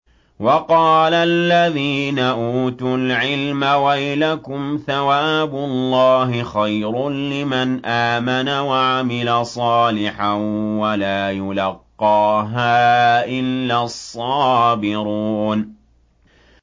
وَقَالَ الَّذِينَ أُوتُوا الْعِلْمَ وَيْلَكُمْ ثَوَابُ اللَّهِ خَيْرٌ لِّمَنْ آمَنَ وَعَمِلَ صَالِحًا وَلَا يُلَقَّاهَا إِلَّا الصَّابِرُونَ